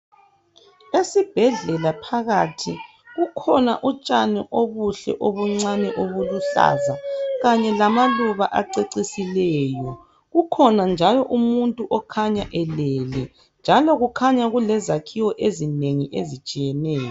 Esibhedlela phakathi kukhona utshani obuhle obuncane obuluhlaza kanye lamaluba acecisileyo. Kukhona njalo umuntu okhanya elele njalo kukhanya kulezakhiwo ezinengi ezitshiyeneyo.